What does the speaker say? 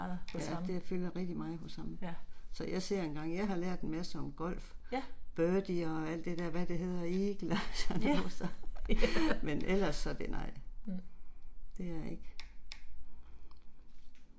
Ja det fylder rigtig meget hos ham, så jeg ser engang jeg har lært en masse om golf. Birdie og alt det der hvad det hedder eagle og sådan noget så men ellers så det nej. Det er ikke